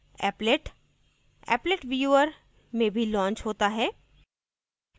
applet applet viewer में भी launch होता है